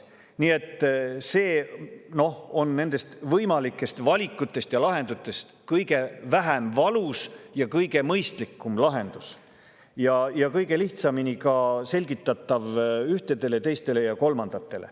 Nii et see on nendest võimalikest valikutest ja lahendustest kõige vähem valus ja kõige mõistlikum lahendus ning ka kõige lihtsamini selgitatav ühtedele, teistele ja kolmandatele.